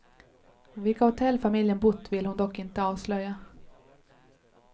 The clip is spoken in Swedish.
Vilka hotell familjen bott vill hon dock inte avslöja.